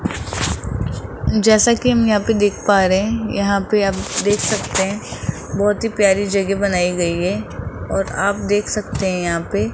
जैसा कि हम यहां पे देख पा रहे हैं यहां पे आप देख सकते हैं बहोत ही प्यारी जगह बनाई गई है और आप देख सकते हैं यहां पे --